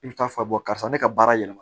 I bɛ taa fɔ karisa ne ka baara yɛlɛma